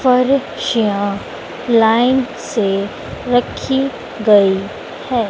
पर्चियां लाइन से रखी गई हैं।